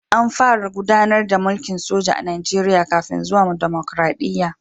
An fara gudanar da mulkin soja a Najeriya kafin zuwan dimokradiyya